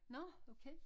Nå okay